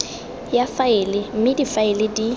ya faele mme difaele di